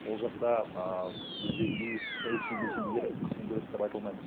ол жақта ы біздегідей саяси белсенділер қысым көреді деп айта алмаймыз